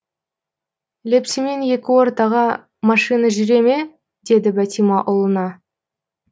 лепсімен екі ортаға машина жүре ме деді бәтима ұлына